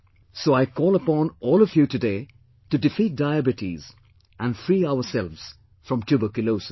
So I call upon all of you today to defeat Diabetes and free ourselves from Tuberculosis